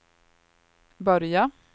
börja